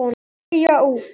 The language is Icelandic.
Deyja út.